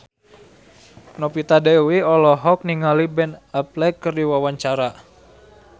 Novita Dewi olohok ningali Ben Affleck keur diwawancara